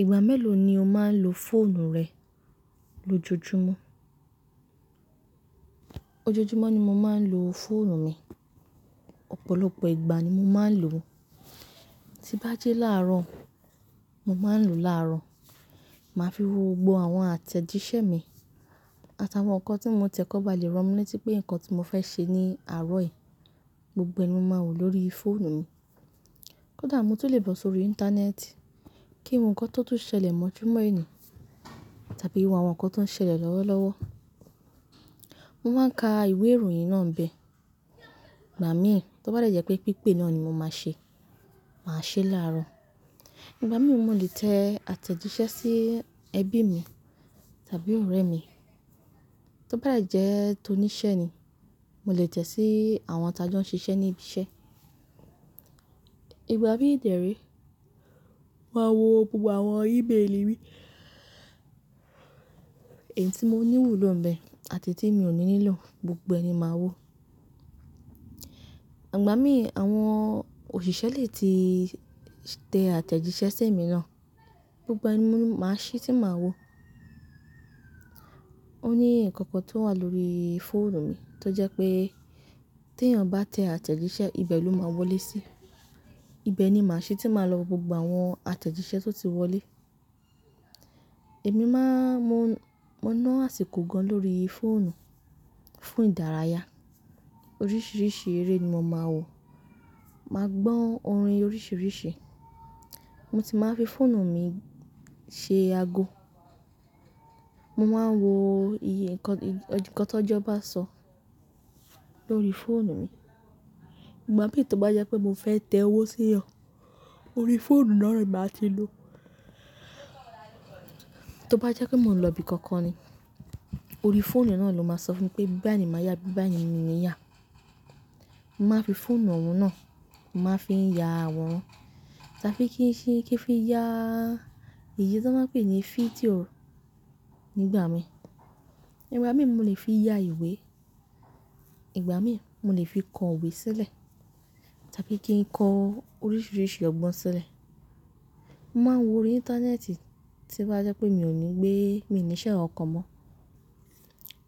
Ìgbà mélòó ni o máa ń lo fóònù rẹ lójoojúmọ́? Ojojúmọ́ ni mo máa ń lo fóònù mi. Ọ̀pọ̀lọpọ̀ ìgbà ni mo máa ń lò ó. Tí bá ji láàárọ̀, mo máa ń lò ó láàárọ̀. Màá fi wo gbogbo àwọn àtẹ̀jíṣẹ́ mi àtàwọn nǹkan tí mo tẹ̀kọ́ba lè ràn mí létí pé nǹkan tí mo fẹ́ ṣe ní àárọ̀ yìí, gbogbo ẹni mo máa wò lóri fóònù mi. Kódà mo tún lè bọ̀ sórí íńtánẹ́ẹ̀tì, kí nǹkan tó tún ṣẹlẹ̀ mọ́ ojúmọ́ ènì tàbí wo àwọn nǹkan tó ń ṣẹlẹ̀ lọ́wọ́lọ́wọ́. Mo máa ń ka ìwé ìròyìn náà ń bẹ. Ìgbà mí, tó bá jẹ́ pé pípè náà ni mo máa ṣe, màá ṣe é láàárọ̀. Ìgbà mí, mo lè tẹ àtẹ̀jíṣẹ́ sí ẹbí mi tàbí ọ̀rẹ́ mi. Tó bá de jẹ́ tó níṣẹ́ ni, mo lè tẹ sí àwọn tí a jọ ń ṣiṣẹ́ ní ibi iṣẹ́. Ìgbà míì dé re, màá wo gbogbo àwọn íbéèlì mi, èyí tí mo nílò ló ń bẹ àti tí mi ò ní nílò, gbogbo ẹni màá wò. Ìgbà mí, àwọn òṣìṣẹ́ lè ti tẹ àtẹ̀jíṣẹ́ sí èmi náà, gbogbo ẹ ni mo máa ṣí tí màá wò. Ó ní nǹkan kan tó wà lórí fóònù mi tó jẹ́ pé tí èèyàn bá tẹ àtẹ̀jíṣẹ́, ibẹ̀ ló máa wọlé sí. Ibẹ̀ ni màá ṣí tí màá lọ gbogbo àwọn àtẹ̀jíṣẹ́ tó ti wọlé. Èmi máa mọ mọ́ náà àsìkò gan lórí fóònù fún ìdárayá. Oríṣiríṣi eré ni mo máa ń wò. Màá gbọ́ orin oríṣiríṣi. Mo ti máa ń fi fóònù mi ṣe ago. Mo máa ń wo iye nǹkan tó jọba sọ lórí fóònù mi. Ìgbà mí tó bá jẹ́ pé mo fẹ́ tẹ owó sí èèyàn, orí fóònù náà ni màá ti lò ó. Tó bá jẹ́ pé mò ń lọ ibi kankan ni, orí fóònù náà ló máa sọ fún mi pé bíbà ní màá yà, bíbà ní mo ní yà. Mo máa ń fi fóònù ọ̀wọ́n náà, mo máa ń fi ya wọn tàbí kí n ṣé kí n fi ya ìyè tí wọ́n pè ní fídíò nígbà mí. Ìgbà mí mo lè fi ya ìwé. Ìgbà mí mo lè fi kọ ìwé sílẹ̀ tàbí kí n kọ oríṣiríṣi ọgbọ́n sílẹ̀. Mo máa ń wò orí íńtánẹ́ẹ̀tì tí bá jẹ́ pé mi ò ní gbé, mi ò níṣẹ́ ọ̀kan mọ́.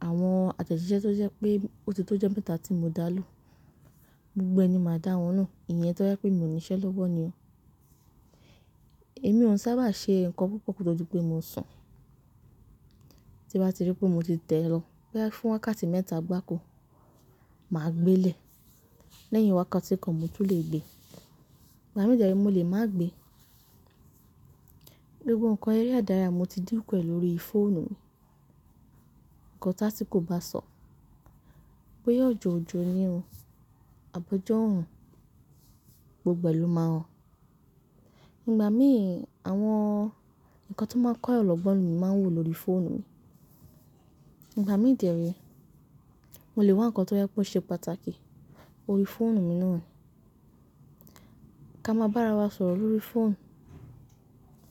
Àwọn àtẹ̀jíṣẹ́ tó jẹ́ pé óti tó jẹ́ mẹ́ta tí mo dá lu, gbogbo ẹni màá dá wọn nù, ìyẹn tó jẹ́ pé mi ò níṣẹ́ ló wọ̀ ni o. Èmi ò ń sábà ṣe nǹkan púpọ̀ kó tó di pé mo sùn. Tí bá ti rí pé mo ti tẹ lo, boyà fún wákàtí mẹ́ta gbáko, màá gbé lè lẹ́yìn wákàtí kan mo tún lè gbé. Ìgbà mìíràn mo lè má gbé. Gbógbo nǹkan eré ìdárayá mo ti dìkù ẹ̀ lórí fóònù mi. Ǹkan tí asikò bá sọ, bóyá òjòòjòní òun, àbọ̀jọ́òrùn, gbogbo ẹni ló máa hàn. Ìgbà mí àwọn nǹkan tó máa ń kọ́ èyàn lọ́gbọ́n mi máa wò lóri fóònù mi. Ìgbà mí dé re, mo lè wá nǹkan tó jẹ́ pé ó ṣe pàtàkì orí fóònù mi náà. Ká máa bá ara wa sọ̀rọ̀ lórí fóònù,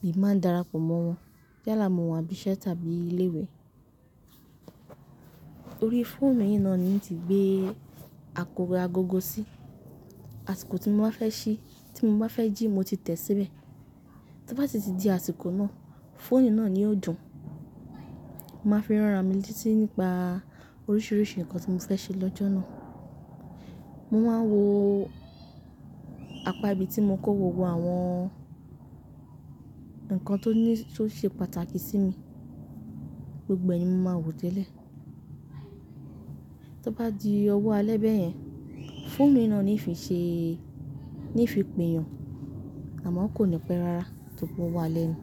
mi máa ń darapọ̀ mọ́ wọn yàálàá mo wà níbí iṣẹ́ tàbí ilé ìwé. Orí fóònù yìí náà ni mo ti gbé àkọ́ra gogo sí. Àsìkò tí mo bá fẹ́ ṣí, tí mo bá fẹ́ jí mo ti tẹ̀ síbẹ̀. Tó bá ti di àsìkò náà, fóònù náà ni yóò dùn. Mo máa ń fi ránra mi létí nípa oríṣiríṣi nǹkan tí mo fẹ́ ṣe lọ́jọ́ náà. Mo máa ń wò apá ibi tí mo ń kó gbogbo àwọn nǹkan tó ní tó ṣe pàtàkì sí mi, gbogbo ẹ ni mo máa wò tẹ́lẹ̀. Tó bá di ọwọ́ alẹ́ bẹ́ẹ̀ yẹn, fóònù yii náà ni ì fi ṣe, ni ì fi pèyàn. Àmọ́ kò ní pẹ́ rárá tó kò wá lẹ́nu.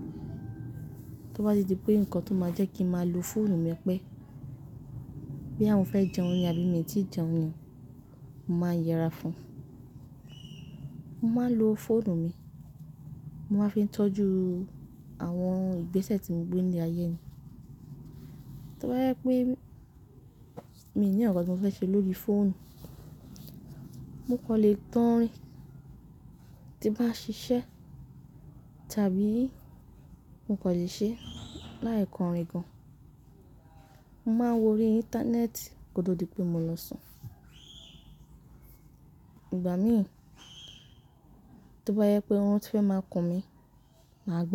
Tó bá di pé nǹkan tó máa jẹ́ kí n máa lo fóònù mi pẹ́, bí àwọn fẹ́ jẹun ní abú mi tí jẹun ni, mo máa yẹra fún wọn. Mo máa ń lo fóònù mi, mo máa ń fi tọ́jú àwọn ìgbésẹ̀ tí mo gbé ní ayé mi. Tó bá jẹ pé mi ò ní nǹkan tí mo fẹ́ ṣe lórí fóònù, mo kò lè tan ọ́rìn. Tí bá ń ṣiṣẹ́ tàbí mo kò lè ṣe láì kọrin gan. Mo máa ń wò orí íńtánẹ́ẹ̀tì kódà ó di pé mo lọ sùn. Ìgbà mí, tó bá jẹ pé órun tí fẹ́ máa kùn mí, màá lo ó.